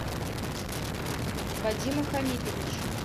вадима хамитовича